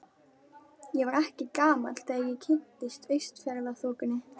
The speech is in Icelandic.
Ég var ekki gamall þegar ég kynntist Austfjarðaþokunni.